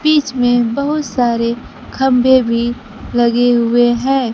बीच में बहुत सारे खंभे भी लगे हुए हैं।